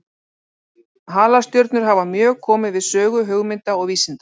Halastjörnur hafa mjög komið við sögu hugmynda og vísinda.